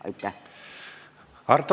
Aitäh!